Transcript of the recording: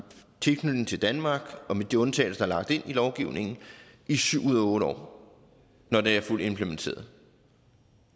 tilknytning til danmark med de undtagelser lagt ind i lovgivningen i syv ud af otte år når det er fuldt implementeret